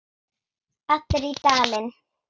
Allir í Dalinn!